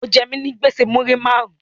O je mi nigbese muri marun